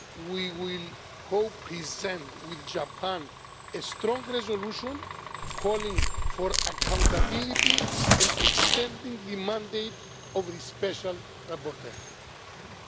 We will co present with Japan a strong resolution calling for accountability and extending the mandate of the Special Rapporteur.